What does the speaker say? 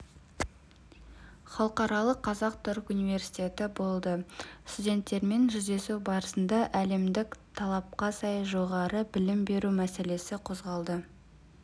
халықаралық қазақ-түрік университеті болды студенттермен жүздесу барысында әлемдік талапқа сай жоғары білім беру мәселесі қозғалды